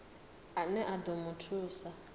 ane a ḓo mu thusa